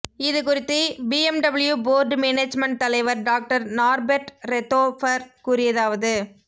இதுகுறித்து BMW board management தலைவர் doctor Norbert Reithofer கூறியதாவது